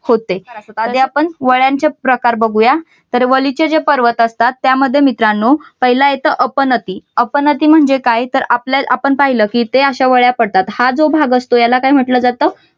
होते जे आपण वळ्यांचे प्रकार बघूया तर वलीचे जे पर्वत असतात त्यामध्ये मित्रांनो पाहिलं येत अपनती. अपनती म्हणजे काय? तर आपल्या आपण पाहिलं का ते अशा वळ्या पडतात हा जो भाग असतो याला काय म्हटलं जातं